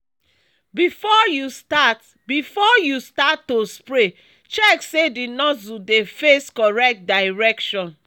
before you start before you start to spray check say the nozzle dey face correct direction.